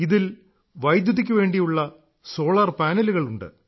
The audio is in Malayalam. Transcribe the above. ഇതിൽ വൈദ്യുതിക്കു വേണ്ടിയുള്ള സോളാർ പാനലുകൾ ഉണ്ട്